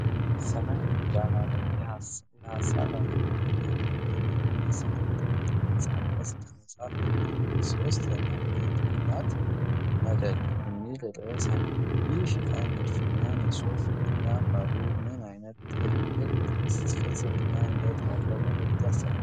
ሰማያዊ ዳራ ላይ የሐሳብ ዓለምን የሚያመለክት የሚመስል የጥቁር ቅርጻቅርጽ ከመጻፍ የሚለዩት ሦስት የአማርኛ ፊደላት 'መወደድ' የሚል ርዕስ አለው፤ ይህ የሽፋን ንድፍ እና ጽሑፍ ለአንባቢው ምን ዓይነት ጥልቅ ፍልስፍናዊ ይዘት ያለው መልዕክት ያስተላልፋል?